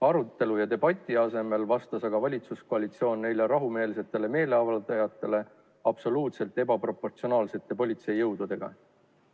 Aga arutelu ja debati asemel vastas valitsuskoalitsioon neile rahumeelsetele meeleavaldajatele absoluutselt ebaproportsionaalsete politseijõududega.